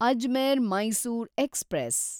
Ajmer Mysore express